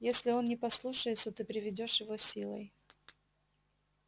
если он не послушается ты приведёшь его силой